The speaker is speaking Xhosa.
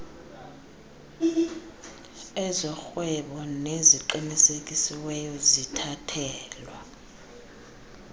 ezorhwebo neziqinisekisiweyo zithathelwa